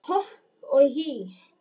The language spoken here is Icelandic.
Hopp og hí